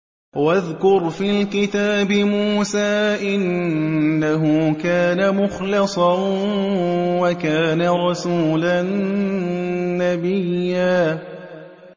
وَاذْكُرْ فِي الْكِتَابِ مُوسَىٰ ۚ إِنَّهُ كَانَ مُخْلَصًا وَكَانَ رَسُولًا نَّبِيًّا